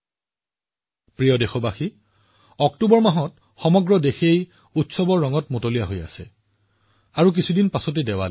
মোৰ মৰমৰ দেশবাসীসকল গোটেই অক্টোবৰ মাহটো উৎসৱৰ ৰঙেৰে ৰঙীয়াল হৈ পৰিছে আৰু আজিৰ পৰা কেইদিনমানৰ পিছত দেৱালী আহি আছে